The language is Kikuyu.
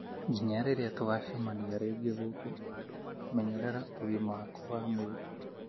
Nginya rĩrĩa tũgũcemania rĩngĩ gũkũ, menyerera ũgima waku wa mwĩrĩ.